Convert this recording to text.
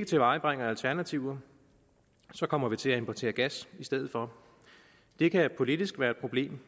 vi tilvejebringer alternativer kommer vi til at importere gas i stedet for det kan politisk være et problem